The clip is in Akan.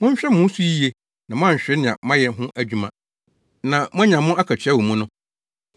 Monhwɛ mo ho so yiye na moanhwere nea moayɛ ho adwuma na moanya mo akatua wɔ mu no.